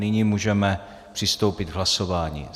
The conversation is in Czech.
Nyní můžeme přistoupit k hlasování.